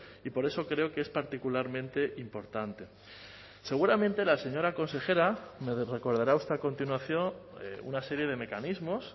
y por eso creo que es particularmente importante seguramente la señora consejera me recordará usted a continuación una serie de mecanismos